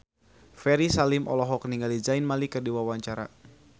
Ferry Salim olohok ningali Zayn Malik keur diwawancara